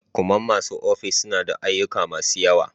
kuman masu aikin ofis suna da ayyuka masu yawa.